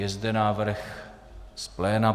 Je zde návrh z pléna.